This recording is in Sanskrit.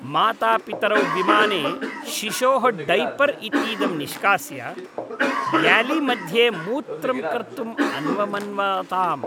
मातापितरौ विमाने शिशोः डैपर् इतीदं निष्कास्य ग्यालीमध्ये मूत्रं कर्तुम् अन्वमन्वाताम्।